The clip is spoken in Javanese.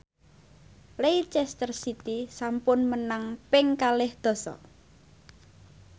Leicester City sampun menang ping kalih dasa